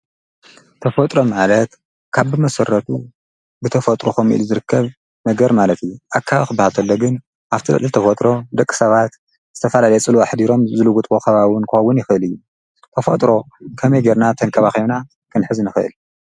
ተፈጥሮ ማለት ካብ ብመሠረቱ ብተፈጥሮ ኾምኡ ኢሉ ዝርከብ ነገር ማለት ኣዩ፡፡ ኣከባቢ ኽባሃል ተሎ ግን ኣብቲ ልዕሊ ተፈጥሮ ደቂ ሰባት ዝተፋላልየ ፅልዋ ኣሕዲሮም ዝልውጥዎ ኸባቢ ውን ክኾውን ይኽእል እዩ፡፡ ተፈጥሮ ከመይ ጌይርና ተንከባቢና ኽንሕዝ ንኽእል?